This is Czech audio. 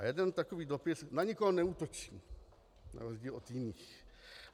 A jeden takový dopis - na nikoho neútočí na rozdíl od jiných.